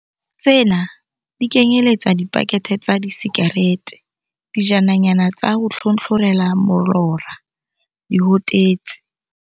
Tsena di kenyeletsa dipakethe tsa disikarete, dijananyana tsa ho tlhotlhorela molora, dihotetsi.